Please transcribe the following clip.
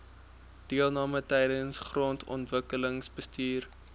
deelname tydens grondontwikkelingsbestuur